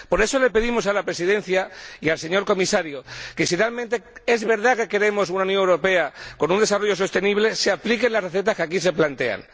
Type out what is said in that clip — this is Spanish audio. Por eso le pedimos a la Presidencia y al señor Comisario que, si realmente es verdad que queremos una Unión Europea con un desarrollo sostenible, se apliquen las recetas que aquí se plantean